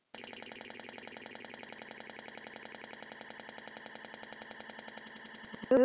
Hugrún hló hvellt.